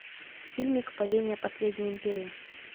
фильмик падение последней империи